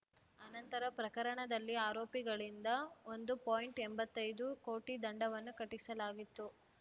ಆನಂತರ ಪ್ರಕರಣದಲ್ಲಿ ಆರೋಪಿಗಳಿಂದ ಒಂದು ಪಾಯಿಂಟ್ ಎಂಬತ್ತೈದು ಕೋಟಿ ದಂಡವನ್ನು ಕಟ್ಟಿಸಲಾಗಿತ್ತು